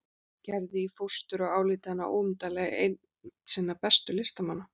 Gerði í fóstur og álíti hana óumdeilanlega einn sinna bestu listamanna.